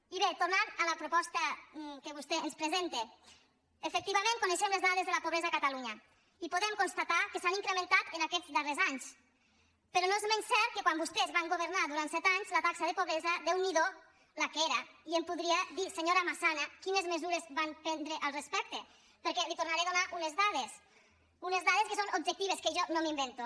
i bé tornant a la proposta que vostè ens presenta efectivament coneixem les dades de la pobresa a catalunya i podem constatar que s’han incrementat aquests darrers anys però no és menys cert que quan vostès van governar durant set anys la taxa de pobresa déu n’hi do la que era i em podria dir senyora massana quines mesures van prendre al respecte perquè li’n tornaré a donar unes dades unes dades que són objectives que jo no m’invento